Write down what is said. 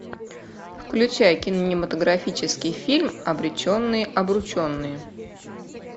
включай кинематографический фильм обреченные обрученные